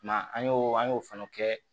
Ma an y'o an y'o fana kɛ